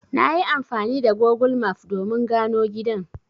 Nayi amfani da Gogul maf domin gano gidan.